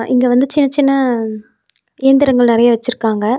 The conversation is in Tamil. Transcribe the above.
இங்க வந்து சின்ன சின்ன இயந்திரங்கள் நெறைய வெச்சிருக்காங்க.